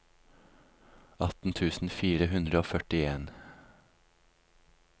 atten tusen fire hundre og førtien